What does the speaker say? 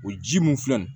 O ji mun filɛ nin ye